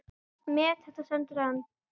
Met þetta stendur enn.